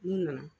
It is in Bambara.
N'u nana